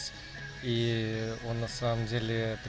и он на самом деле